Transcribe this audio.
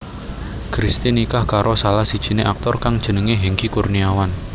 Christy nikah karo salah sijiné aktor kang jenengé Hengky Kurniawan